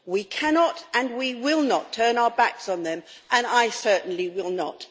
We cannot and we will not turn our backs on them. I certainly will not.